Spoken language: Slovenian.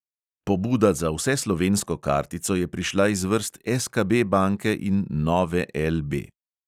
Pobuda za vseslovensko kartico je prišla iz vrst SKB banke in nove LB.